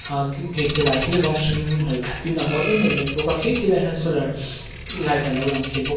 a gate te lah hi rawng hringin hnawih thlap in a mawi em em mai bawk a khi ti laiah khian solar light a lo lang thei bawk a.